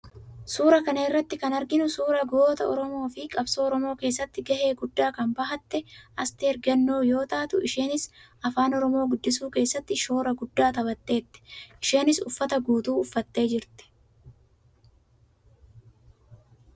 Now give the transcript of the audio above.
Suuraa kana irratti kan arginu suuraa goota Oromoo fi qabsoo Oromoo keessatti gahee guddaa kan bahatte Asteer Gannoo yoo taatu, isheenis Afaan Oromoo guddisuu keessatti shoora guddaa taphatteetti. Isheenis uffata guutuu uffattee jirti.